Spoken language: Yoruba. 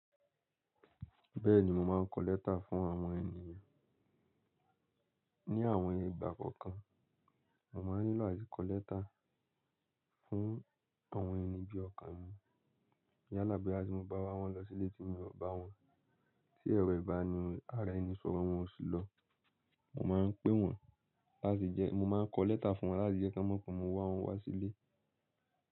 Bẹ́ẹ̀ni, mo máa ń kọ lẹ́tà fún àwọn ènìyàn. Ní àwọn ìgbà kọ̀ọ̀kan. Mo máa ń nílò ati ko lẹ́tà fún àwọn ẹni bí ọkọ̀ mi. Yálà boya tin mo bá wá wọn lọ sílé tì mi ọ bà wọn. Tí ẹrọ ìbára ara ẹni ṣọ̀rọ̀ wọn ò sí lọ. Mo máa ń pé wọ́n, láti jẹ́ mo máa ń kọ lẹ́tà fún wọn, láti jẹ́ kí wọ́n mọ̀ pé mo wá wọn wá sílé.